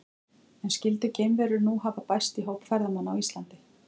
En skyldu geimverur nú hafa bæst í hóp ferðamanna á Íslandi?